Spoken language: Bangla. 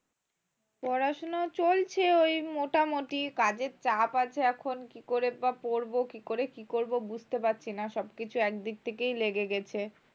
পড়াশুনা চলছে ঐ মোটামুটি কাজের চাপ আছে এখন কী করে বা পরব কী করে কী করব বুঝতে পারছি না সব কিছু এক দিক থেকেই লেগে গেছে